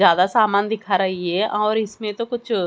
ज्यादा समान दिखा रही है और इसमें तो कुछ--